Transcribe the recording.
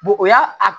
o y'a